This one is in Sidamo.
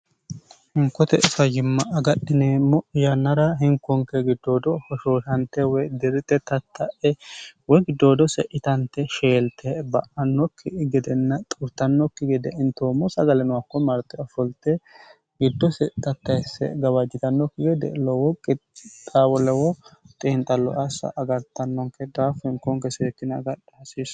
Hinkote fayimma agadhineemmo yannara hinkonke giddoodo hoshooshante woy dirite tatta'e woy giddoodo se'itante sheelte ba'annokki gedenna xuurtannokki gede intoommo sagalino akko marte ofolte giddo se tattaesse gabaajjitannokki wede lowo qixaawo lowoo xeinxallo assa agartannonke daafu hinkoonke seekina agadhi hasiissa